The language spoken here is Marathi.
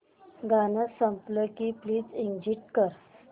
गाणं झालं की प्लीज एग्झिट कर